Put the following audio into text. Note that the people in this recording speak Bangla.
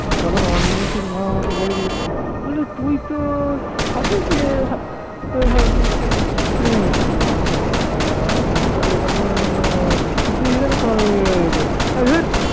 তখন অনিমেষের মা আমাকে বলেছিল বলে তুই তো সাদিকের এবারে তখন তুই এখানে কবে আরে ধুর